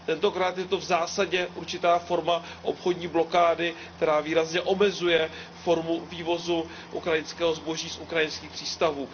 Tentokrát je to v zásadě určitá forma obchodní blokády, která výrazně omezuje formu vývozu ukrajinského zboží z ukrajinských přístavů.